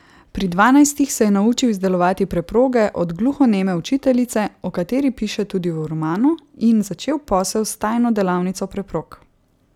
Pri dvanajstih se je naučil izdelovati preproge od gluhoneme učiteljice, o kateri piše tudi v romanu, in začel posel s tajno delavnico preprog.